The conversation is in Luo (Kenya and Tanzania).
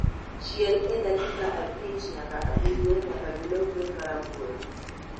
Chiel e dakika abich nyaka abirio nyaka gilokre marabuora